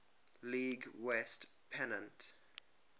league west pennant